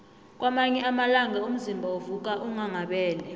kwamanye amalanga umzimba uvuka unghanghabele